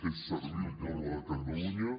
és servir el poble de catalunya